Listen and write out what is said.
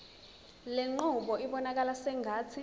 lenqubo ibonakala sengathi